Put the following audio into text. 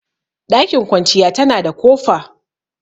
Ɗakin kwanciya tana da kofa